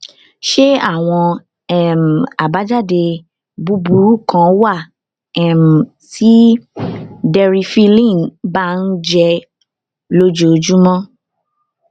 ṣé àwọn um àbájáde búburú kan wà um tí deriphyllin bá ń jẹ lójoojúmọ